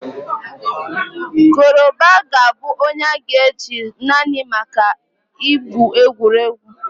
Koroba will only be used for movie roles